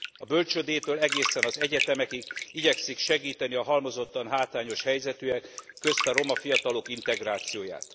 A bölcsődétől egészen az egyetemekig igyekszik segíteni a halmozottan hátrányos helyzetűek, közte a roma fiatalok integrációját.